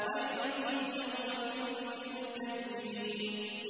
وَيْلٌ يَوْمَئِذٍ لِّلْمُكَذِّبِينَ